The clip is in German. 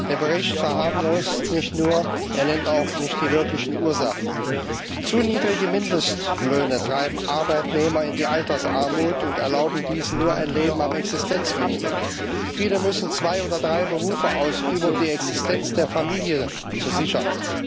Der Bericht verharmlost nicht nur, er nennt auch nicht die wirklichen Ursachen. Zu niedrige Mindestlöhne treiben Arbeitnehmer in die Altersarmut und erlauben diesen nur ein Leben am Existenzminimum. Viele müssen zwei oder drei Berufe ausüben, um die Existenz der Familie zu sichern.